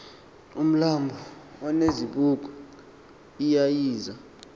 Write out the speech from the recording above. umlambo onezibuko eyayiza